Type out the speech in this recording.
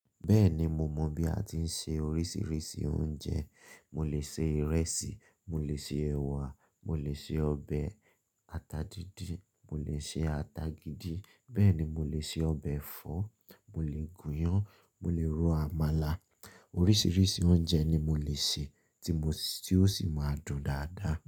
Bẹ́ẹ̀ni mo mọ bí a ti ń se oríṣiríṣi oúnjẹ. Mo lè se ìrẹsì, mo lè se ẹ̀wà, mo lè se ọbẹ̀ ata díndín, mo lè se ata gidi, bẹ́ẹ̀ ni mo lè se ọbẹ̀ ẹ̀fọ́, mo lè gúnyán, mo lè ro àmàlà. Oríṣiríṣi oúnjẹ ni mo lè se tí ó sì máa dùn dáadáa.